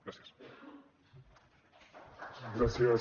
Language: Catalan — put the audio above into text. gràcies